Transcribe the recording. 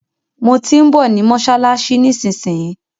Mo tí ń bọ̀ ní mọ́ṣáláṣí nísinsìnyí.